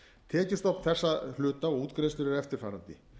tekjustofn þessa hluta og útgreiðslur eru eftirfarandi